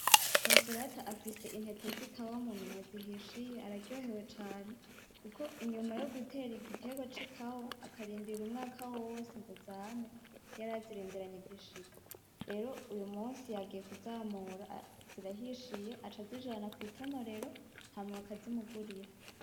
Connsolata afise intete zikawa mu minwe zihishiye araryohewe cane kuko inyuma yo gutera igitegwa c'ikawa akarindira umwaka wose ngozame yarazirindiranye igishika rero uyu munsi yagiye kuzamura zirahishiye aca azijana kwitonorero hama bakazimugurira.